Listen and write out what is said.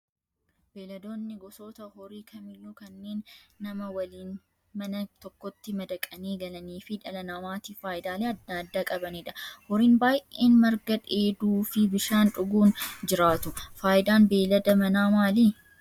Beeyladoonni gosoota horii kamiyyuu kanneen nama waliin mana tokkotti madaqanii galanii fi dhala namaatiif fayidaalee adda adaa qabanidha. Horiin baay'een marga dheeduu fi bishaan dhuguun jiraatu. Fayidaan beeylada manaa maali?